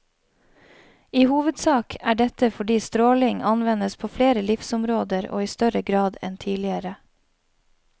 I hovedsak er dette fordi stråling anvendes på flere livsområder og i større grad enn tidligere.